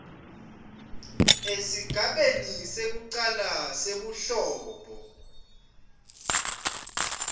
esigabeni sekucala sebuhlobo